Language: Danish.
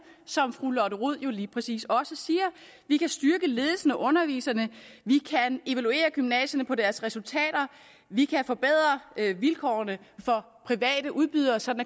som fru lotte rod jo lige præcis også siger vi kan styrke ledelsen og underviserne vi kan evaluere gymnasierne på deres resultater vi kan forbedre vilkårene for private udbydere så